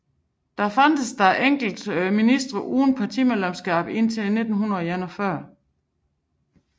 Der fandtes dog enkelte ministre uden partimedlemskab indtil 1941